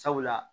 Sabula